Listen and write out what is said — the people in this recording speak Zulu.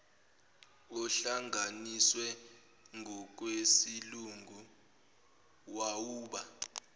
ohlanganiswe ngokwesilungu wawuba